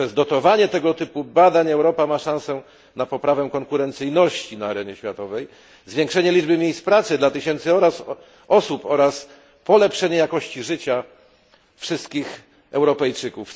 Poprzez dotowanie tego typu badań Europa ma szansę na poprawę konkurencyjności na arenie światowej, zwiększenie liczby miejsc pracy dla tysięcy osób oraz polepszenie jakości życia wszystkich Europejczyków.